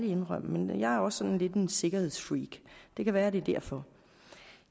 indrømme men jeg er også sådan lidt en sikkerhedsfreak det kan være det er derfor